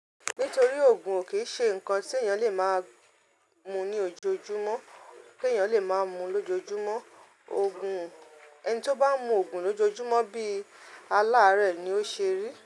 Nítorí òògùn ò kí ń ṣe nǹkan tí èèyàn lè máa mu ní ojoojúmọ́, te yàn lè máa mu lójoojúmọ́. Òògùn, ẹni tí ó bá ń mu òògùn lójoojúmọ́ bí i aláàárẹ̀ ni ó ṣe rí.